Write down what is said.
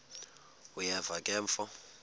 uyeva ke mfo